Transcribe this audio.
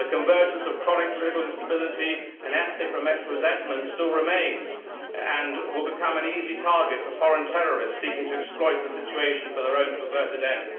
The convergence of chronic political instability and ethnic resentment still remains and will become an easy target for foreign terrorists seeking to exploit the situation for their own perverted ends.